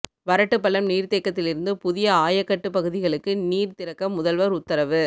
வரட்டுப்பள்ளம் நீர்தேக்கத்திலிருந்து புதிய ஆயக்கட்டு பகுதிகளுக்கு நீர் திறக்க முதல்வர் உத்தரவு